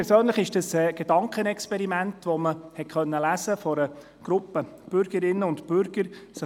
Neulich war von einem Gedankenexperiment einer Gruppe Bürgerinnen und Bürger zu lesen.